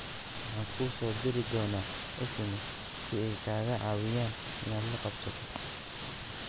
Waxaan kuu soo diri doonaa SMS si ay kaaga caawiyaan inaad la qabsato."